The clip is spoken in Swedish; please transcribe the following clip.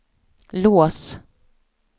lås